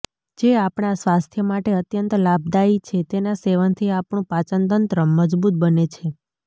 જે આપણાં સ્વાસ્થ્ય માટે અત્યંત લાભદાયી છે તેના સેવનથી આપણું પાચનતંત્ર મજબૂત બને છે